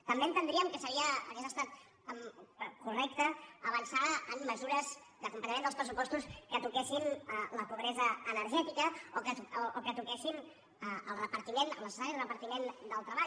també entendríem que hauria estat correcte avançar en mesures d’acompanyament dels pressupostos que toquessin la pobresa energètica o que toquessin el repartiment el necessari repartiment del treball